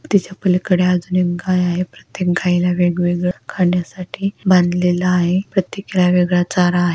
त्याच्या पलीकडे अजून एक गाय आहे प्रत्येक गायीला वेगवेगळ खाण्यासाठी बांधलेल आहे प्रत्येकीला वेगळा चारा आहे.